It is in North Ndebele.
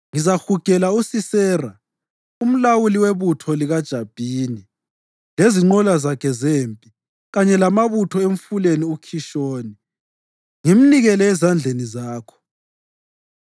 Ngizahugela uSisera, umlawuli webutho likaJabhini, lezinqola zakhe zempi kanye lamabutho emfuleni uKhishoni ngimnikele ezandleni zakho.’ ”